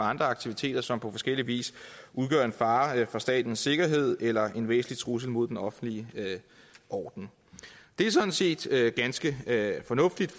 andre aktiviteter som på forskellig vis udgør en fare for statens sikkerhed eller en væsentlig trussel mod den offentlige orden det er sådan set ganske fornuftigt